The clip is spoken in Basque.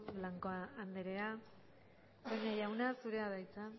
blanco andrea toña jauna zurea da hitza